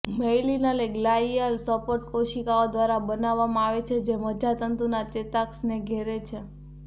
myelin એ glial support કોશિકાઓ દ્વારા બનાવવામાં આવે છે જે મજ્જાતંતુના ચેતાક્ષને ઘેરે છે